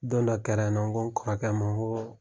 Don dɔ kɛra yen nɔ n ko n kɔrɔkɛ ma n ko